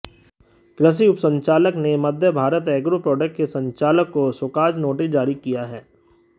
कृषि उपसंचालक ने मध्यभारत एग्रो प्रॉडक्ट्स के संचालक को शोकॉज़ नोटिस जारी किया है